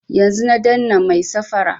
Yanzun na dannan mai safara